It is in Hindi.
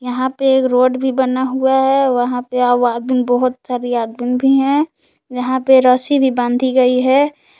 यहां पे एक रोड भी बना हुआ है वहां पे बहोत सारे आदमीन भी है यहां पे रस्सी भी बांधी गई है।